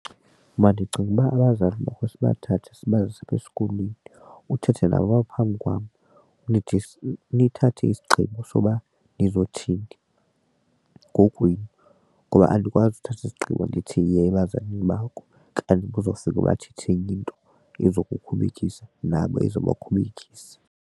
Mna ndicinga uba abazali makhe sibathathe sibase esikolweni uthethe nabo apha phambi kwam nithathe isigqibo soba nizothini kokwenu ngoba andikwazi uthatha isigqibo ndithi yiya ebazalini bakho kanti bazofika bathethe enye into izokukhubekisa nabo ezobakhubekisa.